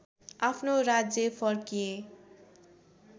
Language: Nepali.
आफ्नो राज्य फर्किए